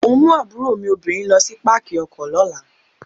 Mò ń mú àbúrò mi obìnrin lo sí Pákì ọkọ̀ lọ́la.